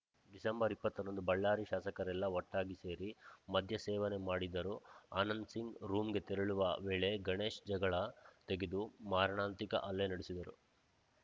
December ಇಪ್ಪತ್ತರಂದು ಬಳ್ಳಾರಿ ಶಾಸಕರೆಲ್ಲಾ ಒಟ್ಟಾಗಿ ಸೇರಿ ಮದ್ಯ ಸೇವನೆ ಮಾಡಿದ್ದರು ಆನಂದ್‌ಸಿಂಗ್‌ ರೂಮ್‌ಗೆ ತೆರಳುವ ವೇಳೆ ಗಣೇಶ್‌ ಜಗಳ ತೆಗೆದು ಮಾರಣಾಂತಿಕ ಹಲ್ಲೆ ನಡೆಸಿದ್ದರು